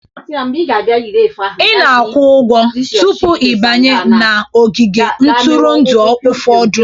Ị na-akwụ ụgwọ tupu ị banye n'ogige ntụrụndụ ụfọdụ